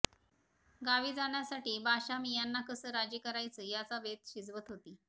गावी जाण्यासाठी बाशामियाँना कसं राजी करायचं याचा बेत शिजवत होती